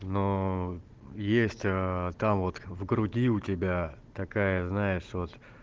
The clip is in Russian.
но есть там вот в груди у тебя такая знаешь вот